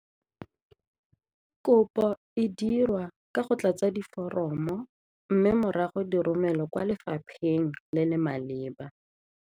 Kopo e dirwa ka go tlatsa diforomo mme morago diromelwe kwa lefapheng le le maleba.